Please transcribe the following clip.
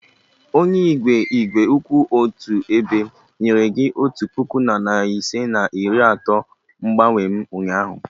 Onye igwe igwe kwụ otu ebe nyere gị otu puku na narị ise na iri atọ mgbanwe m ụnyaahụ?